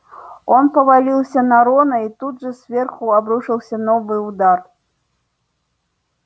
он повалился на рона и тут же сверху обрушился новый удар